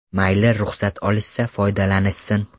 Mayli ruxsat olishsa, foydalanishsin.